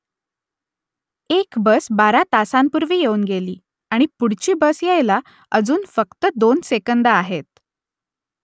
एक बस बारा तासांपूर्वी येऊन गेली आणि पुढची बस यायला अजून फक्त दोन सेकंदं आहेत